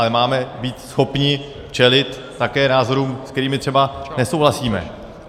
Ale máme být schopni čelit také názorům, se kterými třeba nesouhlasíme.